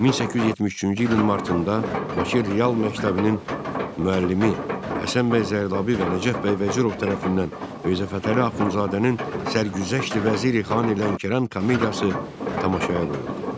1873-cü ilin martında Bakı Real Məktəbinin müəllimi Həsən bəy Zərdabi və Nəcəf bəy Vəzirov tərəfindən Mirzə Fətəli Axundzadənin Sərgüzəşti Vəziri Xan Lənkəran komediyası tamaşaya qoyuldu.